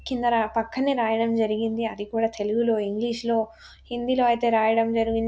కిందన పక్కనే రాయడం జరిగింది. అది కూడా తెలుగు లో ఇంగ్లీష్ లో హిందీ లో ఐతే రాయడం జరిగిం--